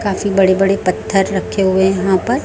काफी बड़े बड़े पत्थर रखे हुए यहां पर--